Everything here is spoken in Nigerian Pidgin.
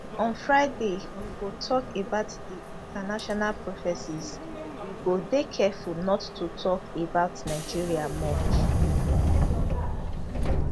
on friday we go tok about di international prophecies we go dey careful not to tok about nigeria much